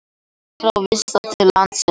Menn frá Visa til landsins